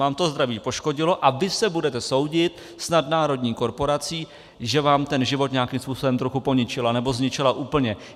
Vám to zdraví poškodilo a vy se budete soudit s nadnárodní korporací, že vám ten život nějakým způsobem trochu poničila nebo zničila úplně.